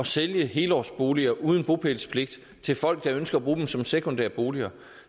sælge helårsboliger uden bopælspligt til folk der ønsker at bruge dem som sekundære boliger